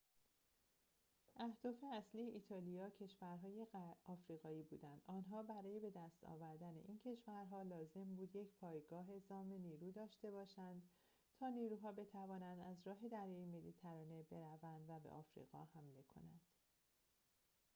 اهداف اصلی ایتالیا کشورهای آفریقایی بودند آنها برای بدست آوردن این کشورها لازم بود یک پایگاه اعزام نیرو داشته باشند تا نیروها بتوانند از راه دریای مدیترانه بروند و به آفریقا حمله کنند